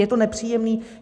Je to nepříjemný.